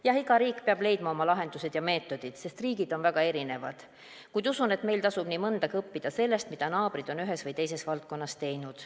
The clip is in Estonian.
Jah, iga riik peab leidma oma lahendused ja meetodid, sest riigid on väga erinevad, kuid usun, et meil tasub nii mõndagi õppida sellest, mida naabrid on ühes või teises valdkonnas teinud.